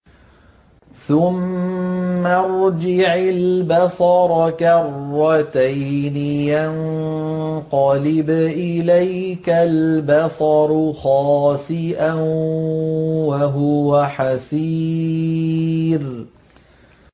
ثُمَّ ارْجِعِ الْبَصَرَ كَرَّتَيْنِ يَنقَلِبْ إِلَيْكَ الْبَصَرُ خَاسِئًا وَهُوَ حَسِيرٌ